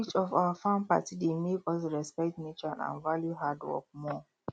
each of our farm party dey make us respect nature and value hard work more